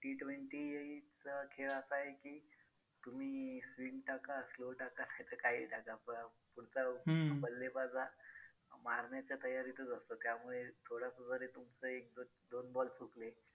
T twenty चा खेळ असा आहे की तुम्ही swing टाका slow टाका. कसं काहीही टाका. पुढचा बल्लेबाज हा मारण्याच्या तयारीतच असतो. त्यामुळे थोडंस जरी तुमचं एक दोन ball हुकले